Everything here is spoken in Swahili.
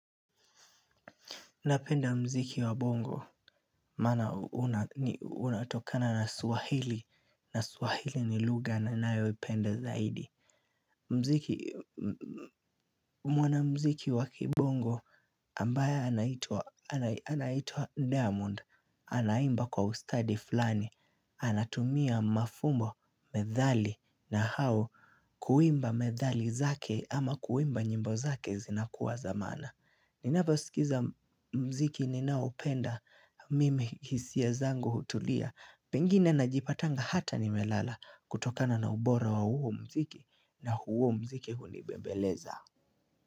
Napenda mziki wa bongo, maana unatokana na swahili, na swahili ni lugha ninayoipenda zaidi. Mziki, mwana mziki wa kibongo ambaye anaitwa, anaitwa diamond, anaimba kwa ustadi fulani, anatumia mafumbo, methali nahau kuimba methali zake ama kuimba nyimbo zake zinakuwa za maana. Ninaposikiza mziki ninaopenda mimi hisia zango hutulia Pengine najipatanga hata nimelala kutokana na ubora wa huo mziki na huo mziki hunibembeleza.